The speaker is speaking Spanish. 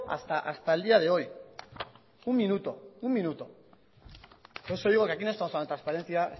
hasta el día de hoy un minuto un minuto por eso digo que aquí no estamos hablando de transparencia